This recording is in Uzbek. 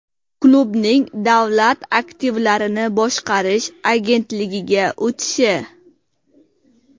Klubning Davlat aktivlarini boshqarish agentligiga o‘tishi?